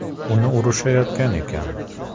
Uni urishayotgan ekan.